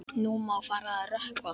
Nú má fara að rökkva.